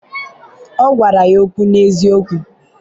ọ gwara ya okwu n’eziokwu.